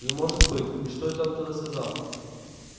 не может быть и что это он тогда сказал